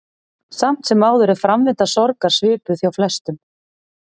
Samt sem áður er framvinda sorgar svipuð hjá flestum.